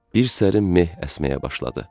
Bir sərin meh əsməyə başladı.